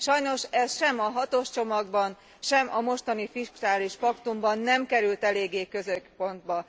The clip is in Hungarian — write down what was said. Sajnos ez sem a hatos csomagban, sem a mostani fiskális paktumban nem került eléggé középpontba.